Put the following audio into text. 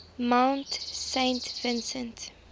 mount saint vincent